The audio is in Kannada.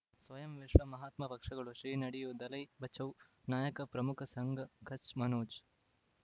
ಸ್ವಯಂ ವಿಶ್ವ ಮಹಾತ್ಮ ಪಕ್ಷಗಳು ಶ್ರೀ ನಡೆಯೂ ದಲೈ ಬಚೌ ನಾಯಕ ಪ್ರಮುಖ ಸಂಘ ಕಚ್ ಮನೋಜ್